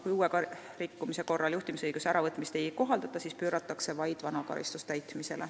Kui uue rikkumise korral juhtimisõiguse äravõtmist ei kohaldata, siis pööratakse täitmisele vaid vana karistus.